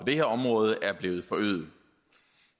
det her område er blevet forøget